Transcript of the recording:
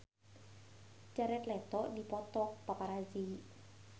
Jared Leto dipoto ku paparazi